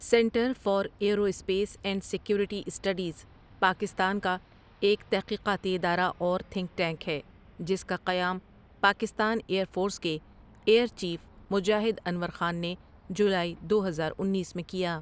Centre for aerospace and security studies Pakistan کا ایک تحقیقاتی ادارہ اور تھنک ٹینک ہے جس کا قیام پاکستان ایئر فورس کے ایئر چیف مجاہد انور خان نے جولائی دو ہزار انیس میں کیا ۔